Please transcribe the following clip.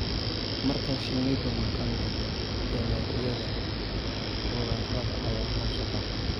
Marka shinnidu maqan tahay, dalagyada khudradda ayaa hoos u dhacaya.